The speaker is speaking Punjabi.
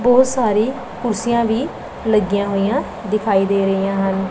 ਬੋਹੁਤ ਸਾਰੀ ਕੁਰਸੀਆਂ ਵੀ ਲੱਗਿਆਂ ਹੋਈਆਂ ਦਿਖਾਈ ਦੇ ਰਾਹੀਆਂ ਹਨ।